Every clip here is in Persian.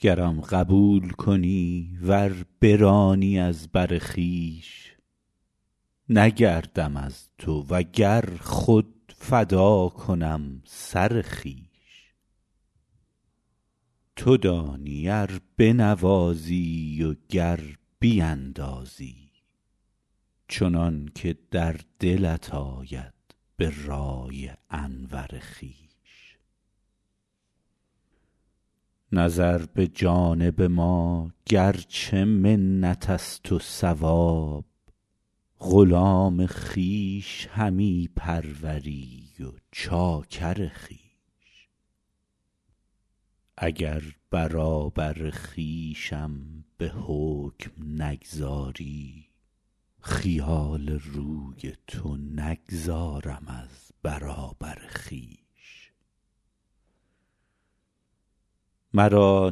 گرم قبول کنی ور برانی از بر خویش نگردم از تو و گر خود فدا کنم سر خویش تو دانی ار بنوازی و گر بیندازی چنان که در دلت آید به رأی انور خویش نظر به جانب ما گر چه منت است و ثواب غلام خویش همی پروری و چاکر خویش اگر برابر خویشم به حکم نگذاری خیال روی تو نگذارم از برابر خویش مرا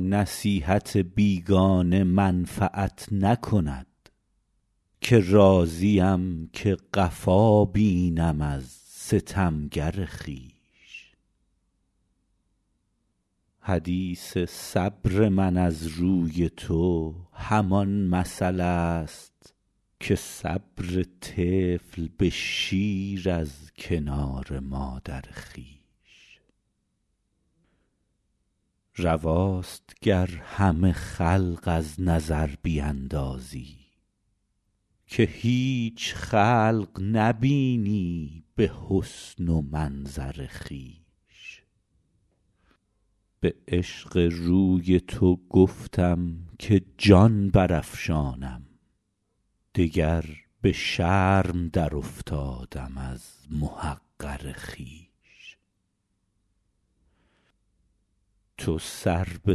نصیحت بیگانه منفعت نکند که راضیم که قفا بینم از ستمگر خویش حدیث صبر من از روی تو همان مثل است که صبر طفل به شیر از کنار مادر خویش رواست گر همه خلق از نظر بیندازی که هیچ خلق نبینی به حسن و منظر خویش به عشق روی تو گفتم که جان برافشانم دگر به شرم درافتادم از محقر خویش تو سر به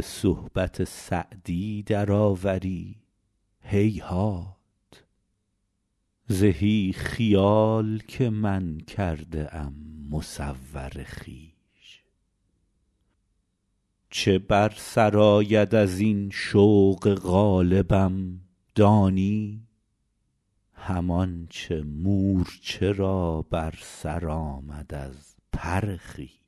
صحبت سعدی درآوری هیهات زهی خیال که من کرده ام مصور خویش چه بر سر آید از این شوق غالبم دانی همان چه مورچه را بر سر آمد از پر خویش